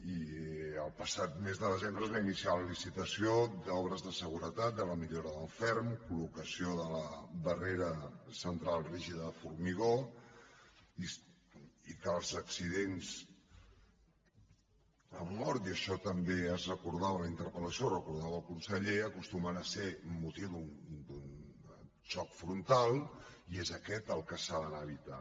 i el passat mes de desembre es va iniciar la licitació d’obres de segure·tat de la millora del ferm col·tral rígida de formigó i que els accidents amb mort i això també es recordava en la interpeldava el conseller acostumen a ser per motiu d’un xoc frontal i és aquest el que s’ha d’anar a evitar